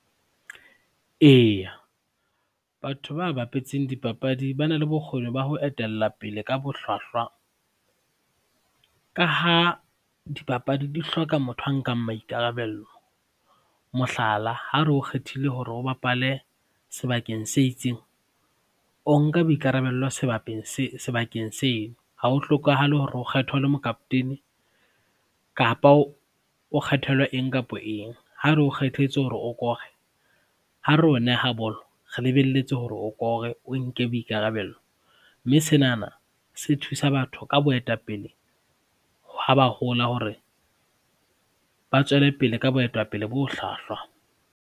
Eya, batho ba bapetseng dipapadi ba na le bokgoni ba ho etellapele ka bohlwahlwa ka ha dipapadi di hloka motho a nkang maikarabello, mohlala, ha re o kgethile hore o bapale sebakeng se itseng, o nka boikarabello sebakeng seo, ha ho hlokahale hore o kgethwe o le mokapotene kapa o kgethelwe eng kapa eng. Ha re o kgethetse hore o kore, ha re o neha bolo, re lebelletse hore o kore, o nke boikarabello, mme senana se thusa batho ka boetapele ha ba hola hore ba tswellepele ka boetapele bo hlwahlwa.